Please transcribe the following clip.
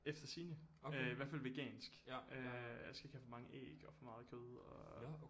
Efter sigende øh i hvert fald vegansk øh jeg skal ikke have for mange æg og for meget kød og